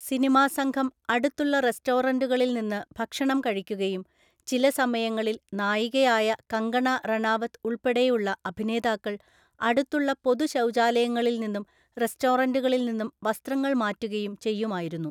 Cinema സംഘം അടുത്തുള്ള റെസ്റ്റോറൻ്റുകളിൽനിന്ന് ഭക്ഷണം കഴിക്കുകയും ചില സമയങ്ങളിൽ നായികയായ കങ്കണ റണാവത് ഉൾപ്പെടെയുള്ള അഭിനേതാക്കൾ അടുത്തുള്ള പൊതു ശൗചാലയങ്ങളിൽനിന്നും റെസ്റ്റോറൻ്റുകളിൽനിന്നും വസ്ത്രങ്ങൾ മാറ്റുകയും ചെയ്യുമായിരുന്നു.